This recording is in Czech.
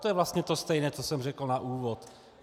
To je vlastně to stejné, co jsem řekl na úvod.